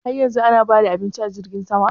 Har yanzu ana ba da abincin a jirgin sama?